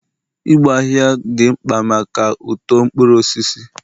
igbo ahihia dị mkpa maka uto mkpuru osisi